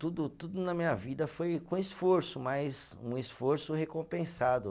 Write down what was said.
Tudo, tudo na minha vida foi com esforço, mas um esforço recompensado.